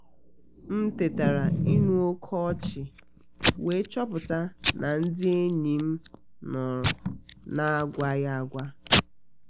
m tetara ịnụ oké ọchị we chọpụta na ndị enyi m nọrọ na agwaghí agwa